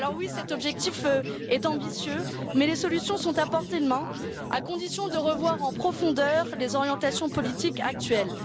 Cet objectif est effectivement ambitieux, mais les solutions sont à portée de main à condition de revoir en profondeur les orientations politiques actuelles.